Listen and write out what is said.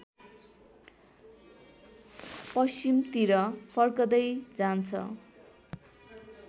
पश्चिमतिर फर्केँदै जान्छ